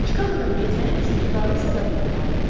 Çikaqodan getməyim üçün tutarlı səbəblər vardı.